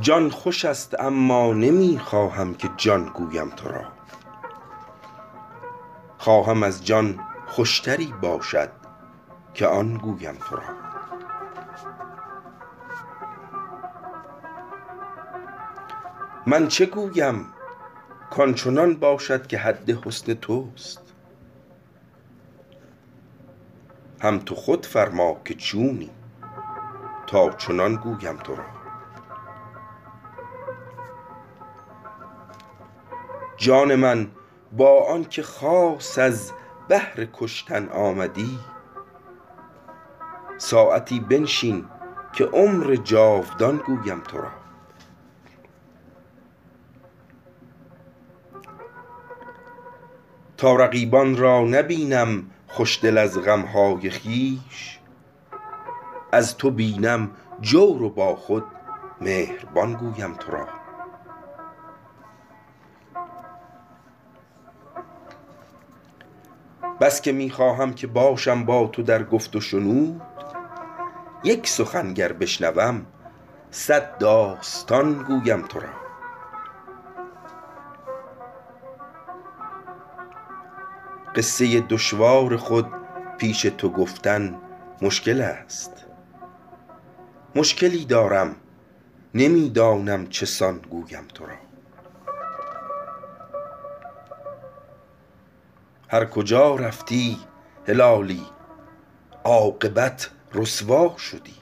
جان خوشست اما نمیخواهم که جان گویم ترا خواهم از جان خوشتری باشد که آن گویم ترا من چه گویم کانچنان باشد که حد حسن تست هم تو خود فرماکه چونی تا چنان گویم ترا جان من با آنکه خاص از بهر کشتن آمدی ساعتی بنشین که عمر جاودان گویم ترا تا رقیبان را نبینم خوشدل از غمهای خویش از تو بینم جور و با خود مهربان گویم ترا بسکه میخواهم که باشم با تو در گفت و شنود یک سخن گر بشنوم صد داستان گویم ترا قصه دشوار خود پیش تو گفتن مشکلست مشکلی دارم نمیدانم چه سان گویم ترا هر کجا رفتی هلالی عاقبت رسوا شدی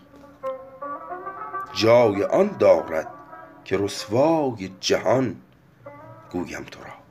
جای آن دارد که رسوای جهان گویم ترا